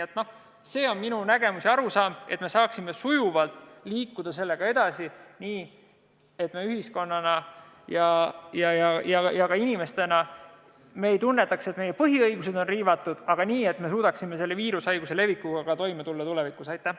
Selline on minu nägemus ja arusaam, et saaksime sujuvalt edasi liikuda nii, et me ühiskonna ega inimestena ei tunneks, et meie põhiõigusi on riivatud, ja suudaksime selle viirushaiguse levikuga ka tulevikus toime tulla.